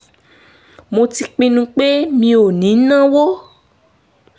mo ti pinnu pé mi ò ní náwó